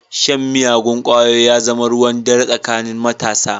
Shan miyagun ƙwayoyi ya zama ruwan dare tsakanin matasa.